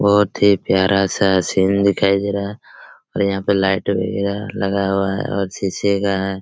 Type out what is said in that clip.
बहोत ही प्यारा सा सीन दिखाई दे रहा और यहाँ पे लाइट वैगेरा लगा हुआ हैं और शीशे का हैं।